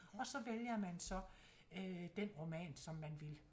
Og så vælger man så øh den roman som man vil